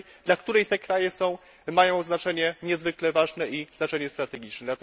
dla której te kraje mają znaczenie niezwykle ważne i znaczenie strategiczne.